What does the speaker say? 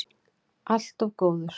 Allt of góður.